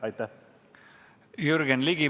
Aitäh!